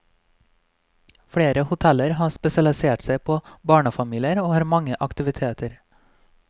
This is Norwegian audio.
Flere hoteller har spesialisert seg på barnefamilier og har mange aktiviteter.